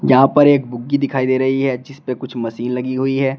यहां पर एक बुग्गी दिखाई दे रही है जिसपे कुछ मशीन लगी हुई है।